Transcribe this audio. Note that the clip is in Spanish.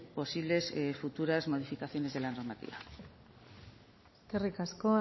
posibles futuras modificaciones de la normativa eskerrik asko